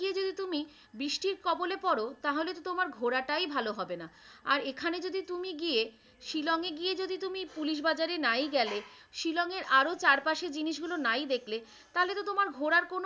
বৃষ্টির কবলে পড়ো তাহলে তো তোমার ঘোরাটাই ভালো হবে না আর এখানে যদি তুমি গিয়ে শিলংয়ে গিয়ে যদি তুমি পুলিশ বাজারে নাই গেলে শিলং এর আরো চারপাশে জিনিসগুলো নাই দেখলে তাহলে তো তোমার ঘোরার কোনো,